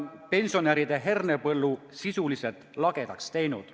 – pensionäride hernepõllu sisuliselt lagedaks teinud.